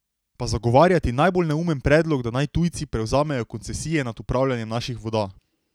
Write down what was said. Pa zagovarjati najbolj neumen predlog, da naj tujci prevzamejo koncesije nad upravljanjem naših voda.